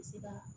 Bɛ se ka